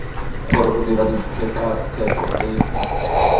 gore o dirwa ditshekatsheko tse